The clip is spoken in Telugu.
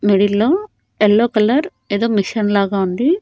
మిడిల్లో ఎల్లో కలర్ ఏదో మిషన్ లాగా ఉంది.